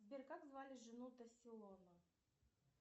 сбер как звали жену тасселона